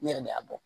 U yɛrɛ de y'a bɔ